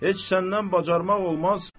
Heç səndən bacarmaq olmaz.